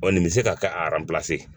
Ɔ nin bɛ se ka kɛ a ye